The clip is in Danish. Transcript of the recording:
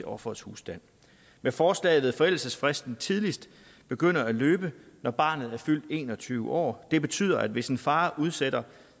offerets husstand med forslaget vil forældelsesfristen tidligst begynde at løbe når barnet er fyldt en og tyve år det betyder at hvis en far udsætter